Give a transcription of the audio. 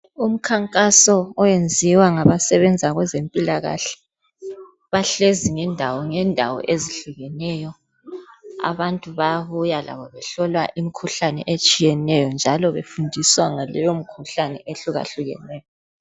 Umkhankaso owenziwa ngabasebenza kwezempilakahle, bahlezi ngendawo ngendawo ezihlukeneyo. Abantu bayabuya labo, behlolwa imkhuhlane etshiyeneyo, njalo befundiswa ngaleyomikhuhlane ehlukahlukeneyo.